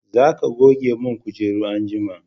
za ka goge mun kujeru anjima!